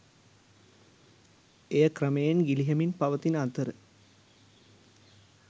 එය ක්‍රමයෙන් ගිලිහෙමින් පවතින අතර